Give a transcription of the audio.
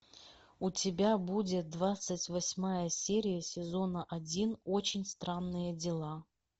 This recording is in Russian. у тебя будет двадцать восьмая серия сезона один очень странные дела